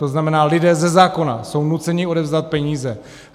To znamená, lidé ze zákona jsou nuceni odevzdat peníze.